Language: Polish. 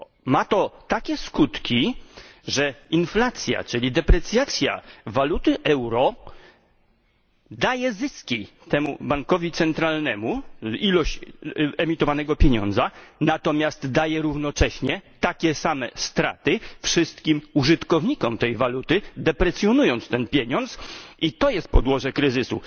Ma to takie skutki, że inflacja, czyli deprecjacja waluty euro, daje zyski temu bankowi centralnemu w ilości emitowanego pieniądza, natomiast daje równocześnie takie same straty wszystkim użytkownikom tej waluty, deprecjonując ten pieniądz, i to jest podłoże kryzysu.